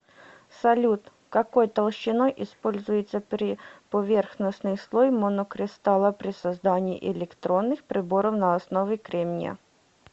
салют какой толщиной используется приповерхностный слой монокристалла при создании электронных приборов на основе кремния